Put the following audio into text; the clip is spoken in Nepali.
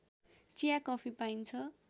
चिया कफी पाइन्छ